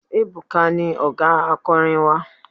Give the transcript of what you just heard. Ebuka ni ọ̀gá akọrin wa.